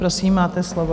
Prosím, máte slovo.